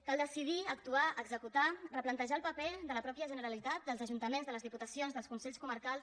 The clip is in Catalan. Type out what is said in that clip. cal decidir actuar executar replantejar el paper de la mateixa generalitat dels ajuntaments de les diputacions dels consells comarcals